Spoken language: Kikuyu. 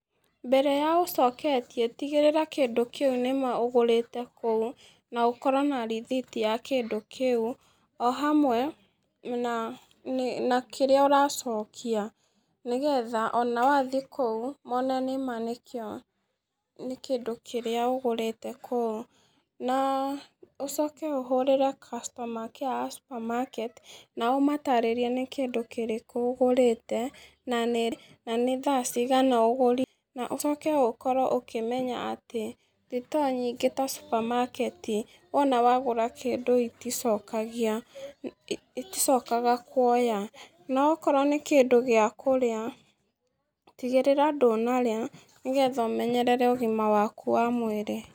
Mbere ya ũcoketie tigĩrĩra kĩndũ kĩu nĩma ũgũrĩte kũu na ũkorwo na rĩthiti ya kĩndũ kĩu ohamwe na na kĩrĩa ũracokia nĩgetha ona wathiĩ kũu mone nĩma nĩ kĩndũ kĩrĩa ũgũrĩte kũu na ũcoke ũhũrĩre customer care supermarket naũmatarĩrie nĩ kĩndũ kĩrĩkũ ũgũrĩte na nĩ thaa cigana ũgũrire. Ũcoke ũkorwo ũkĩmenya atĩ thito nyingĩ ta supermarket wona wagũra kĩndũ iticokagia. Iticokaga kwoya na okorwo nĩ kĩndũ gĩa kũrĩa tigĩrĩra ndũnarĩa nĩgetha ũmenyerere ũgima waku wa mwĩrĩ.